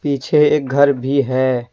पीछे एक घर भी है।